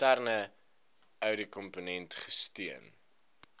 interne ouditkomponent gesteun